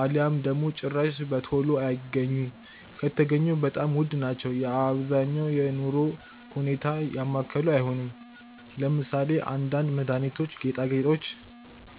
አልያም ደግሞ ጭራሽ በቶሎ አይገኙም ከተገኙም በጣም ዉድ ናቸው የ አብዛኛውን የኑሮ ሁኔታ ያማከሉ አይሆንም። ለምሳሌ :- አንዳንድ መድሃኒቶች, ጌጣገጦች